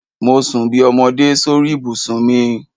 Mo sun bí ọmọdé sórí ibùsùn mi.